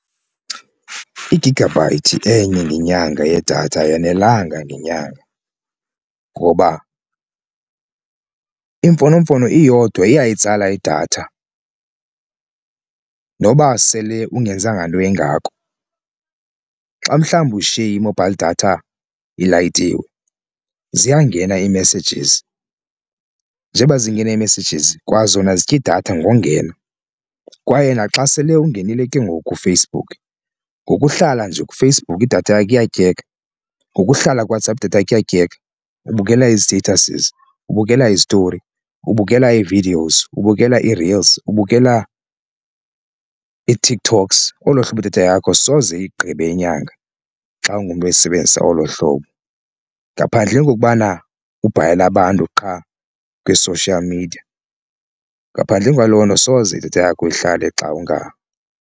Igigabhayithi enye ngenyanga yedatha ayonelanga ngenyanga ngoba iimfonomfono iyodwa iyayitsala idatha noba sele ungenzanga nto ingako. Xa mhlawumbi ushiye i-mobile data ilayitile ziyangena ii-messages njengoba zingena ii-messages kwazona zitya idatha ngongena. Kwaye naxa sele ungenile ke ngoku kuFacebook ngokuhlala nje kuFacebook idatha yakho iyatyeka, ngokuhlala kuWhatsApp data iyatyeka, ubukela izi-statuses, ubukela izitori, ubukela ii-videos, ubukela ii-reels, ubukela iTikToks, olo hlobo idatha yakho soze iyigqibe inyanga xa ungumntu oyisebenzisa olo hlobo. Ngaphandleni kokokubana ubhalela abantu qha kwi-social media, ngaphandleni kwaloo nto soze idatha yakho ihlale xa .